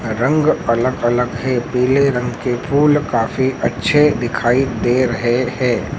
रंग अलग अलग हैं पीले रंग के फूल काफी अच्छे दिखाई दे रहें हैं।